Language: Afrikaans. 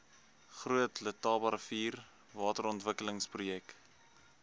groot letabarivier waterontwikkelingsprojek